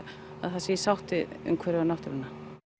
að það sé í sátt við umhverfið og náttúruna